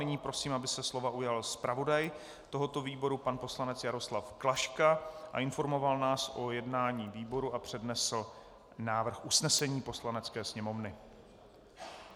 Nyní prosím, aby se slova ujal zpravodaj tohoto výboru pan poslanec Jaroslav Klaška a informoval nás o jednání výboru a přednesl návrh usnesení Poslanecké sněmovny.